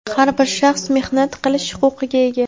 har bir shaxs mehnat qilish huquqiga ega.